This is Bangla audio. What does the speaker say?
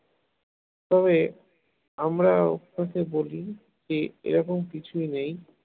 তবে আমরা অভ্যাসে বলি কি এরকম কিছুই নেই